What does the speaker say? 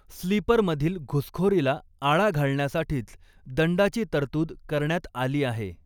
स्लीपर'मधील घुसखोरीला आळा घालण्यासाठीच दंडाची तरतूद करण्यात आली आहे.